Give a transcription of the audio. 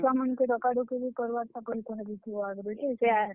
ଆଉ ଛୁଆ ମାନ୍ ଙ୍କୁ ଡକାଡକି ନି କରବାର୍ ତକର୍ କହି ଦେଇଥିବ ଆଘରୁ ଯେ।